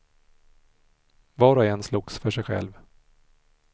Var och en slogs för sig själv.